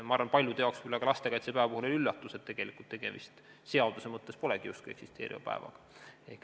Ma arvan, paljude jaoks oli üllatus, et tegelikult lastekaitsepäev seaduse mõttes polegi justkui eksisteeriv päev.